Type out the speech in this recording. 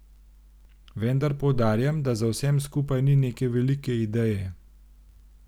Vendar poudarjam, da za vsem skupaj ni neke velike ideje.